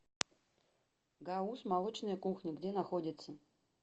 гауз молочная кухня где находится